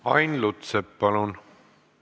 Ain Lutsepp, palun!